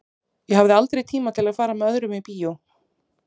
Ég hafði aldrei tíma til að fara með öðrum í bíó.